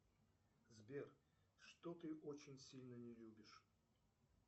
сбер что ты очень сильно не любишь